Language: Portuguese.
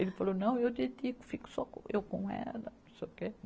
Ele falou, não, eu dedico, fico só eu com ela. Não sei o quê